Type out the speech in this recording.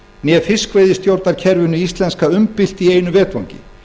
né fiskveiðistjórnarkerfinu íslenska umbylt í einu vetfangi